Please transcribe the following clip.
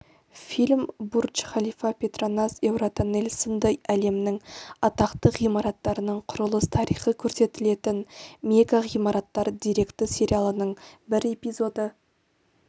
фильм бурдж-халифа петронас еуротоннель сынды әлемнің атақты ғимараттарының құрылыс тарихы көрсетілетін мегағимараттар деректі сериалының бір эпизоды